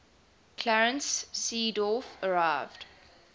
clarence seedorf arrived